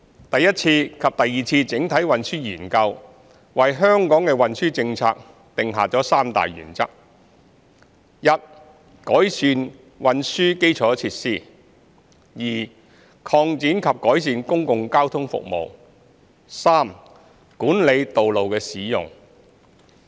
第一次及第二次整體運輸研究為香港的運輸政策定下三大原則 ：i 改善運輸基礎設施；擴展及改善公共交通服務；及管理道路的使用。